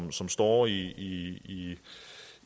som står i